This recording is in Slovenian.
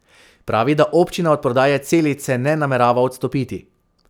Pravi, da občina od prodaje Celice ne namerava odstopiti.